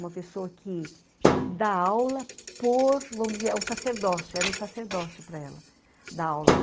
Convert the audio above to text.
Uma pessoa que dá aula por, vamos dizer, é um sacerdócio, era um sacerdócio para ela dar aula.